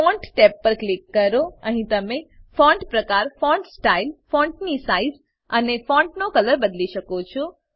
font tab પર click કરો અહીં તમે ફોન્ટ પ્રકાર ફોન્ટ સ્ટાઇલ ફોંટની સાઇઝ અને ફોંટનો કલર બદલી શકો છો